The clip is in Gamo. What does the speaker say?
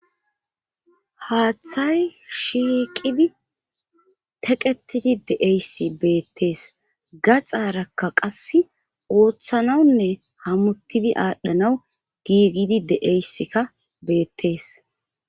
Haaththay shiqidi teqetidi de'eysi beettees gaxaarakka qas ooththanawunne hamuttidi aadhdhanaw giigidi de7eyssikka beettees.